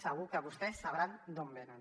segur que vostès sabran d’on venen